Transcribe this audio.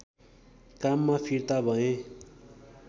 काममा फिर्ता भए